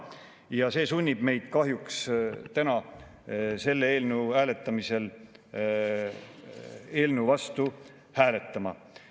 Ja see sunnib meid kahjuks täna selle eelnõu vastu hääletama.